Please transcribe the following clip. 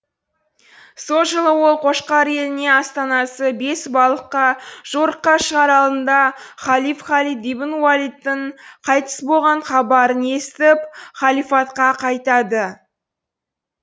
сол жылы ол қошқар еліне астанасы бесбалыққа жорыққа шығар алдында халиф халид ибн уалидтің қайтыс болған хабарын естіп халифатқа қайтады